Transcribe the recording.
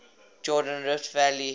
jordan rift valley